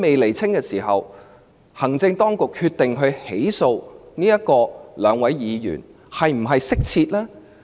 在此情況下，行政當局決定起訴兩位議員，是否恰當？